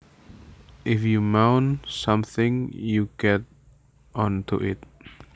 If you mount something you get on to it